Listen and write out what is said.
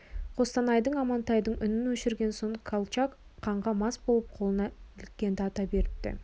қостанайдың амантайдың үнін өшірген соң колчак қанға мас болып қолына іліккенді ата беріпті